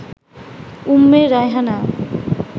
Umme Raihana